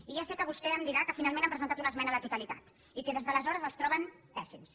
i ja sé que vostè em dirà que finalment han presentat una esmena a la totalitat i que des d’aleshores els troben pèssims